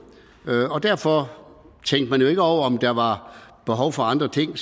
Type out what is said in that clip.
og derfor tænkte man jo ikke over om der var behov for andre ting